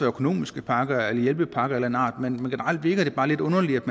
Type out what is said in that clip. økonomiske pakker eller hjælpepakker af en art men generelt virker det bare lidt underligt